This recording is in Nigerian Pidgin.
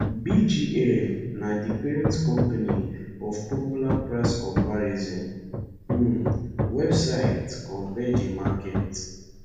bgl na di parent company of popular price comparison um website compare the market